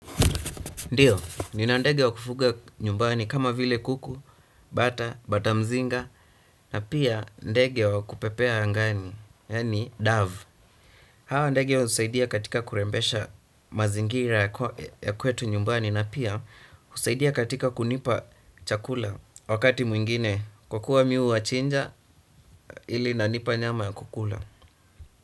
Ndiyo, nina ndege wa kufuga nyumbani kama vile kuku, bata, bata mzinga, na pia ndege wa kupepea angani, yaani dove. Hawa ndege husaidia katika kurembesha mazingira ya kwetu nyumbani na pia husaidia katika kunipa chakula wakati mwingine kwa kuwa mimi huwachinja ili inanipa nyama ya kukula.